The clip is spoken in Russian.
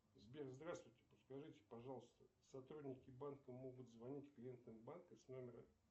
сбер здравствуйте подскажите пожалуйста сотрудники банка могут звонить клиентам банка с номера